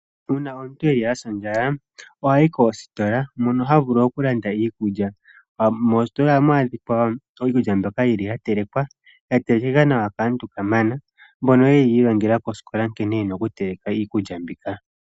Uuna omuntu asa ondjala ohayi koositola mono omuntu havulu okulanda iikulya. Moositola ohamu adhika iikulya mbyoka ya telekwa ,ya telekwa nawa kaantu kamana mbono yeli yi ilonga koosikola nkene yena oku teleka iikulya mbika.